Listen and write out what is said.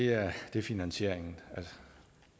er finansieringen